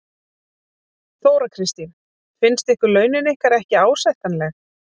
Þóra Kristín: Finnst ykkur launin ykkar ekki ásættanleg?